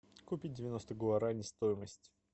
купить девяносто гуарани стоимость